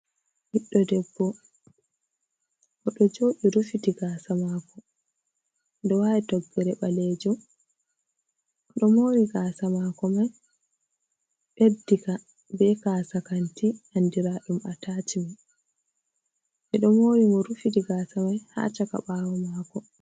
Ɗiɗɗo debbo oɗo jodi rufiti gasa mako ɗo wali toggere balejum oɗo mori gasa mako mai ɓeddi ka be kasa kanti andiraɗum a tashimen ɓe do mori mo rufiti gasa mai ha saka bawo mako.